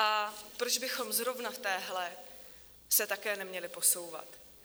A proč bychom zrovna v téhle se také neměli posouvat?